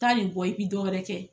Taa nin bɔ i bi dɔ wɛrɛ kɛ.